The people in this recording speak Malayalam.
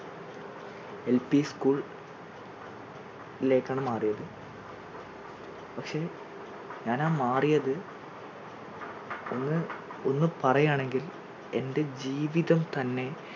എൽപി school ലേക്ക് ആണ് മാറിയത്, പക്ഷേ ഞാൻ ആ മാറിയത് ഒന്ന് ഒന്നു പറയാണെങ്കിൽ എൻറെ ജീവിതം തന്നെ-